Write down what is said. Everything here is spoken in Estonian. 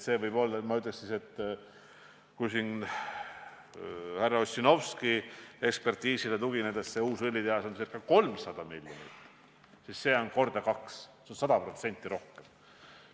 Ma ütleks, et kui härra Ossinovski ekspertiisile tugineda, mille järgi uus õlitehas läheb maksma 300 miljonit, siis see, millest mina räägin, läheb maksma kaks korda rohkem, 100% rohkem.